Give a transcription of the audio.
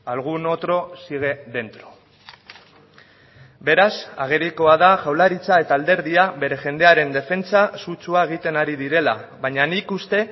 algún otro sigue dentro beraz agerikoa da jaurlaritza eta alderdia bere jendearen defentsa sutsua egiten ari direla baina nik uste